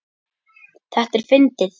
Þetta er fyndið.